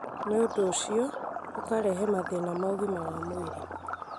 naũndũ ũcio, ũkarehe mathĩna ma ũgima wa mwĩrĩ.